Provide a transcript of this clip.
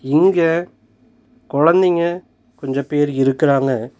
இங்க கொழந்தைங்க கொஞ்சோ பேர் இருக்குறங்க.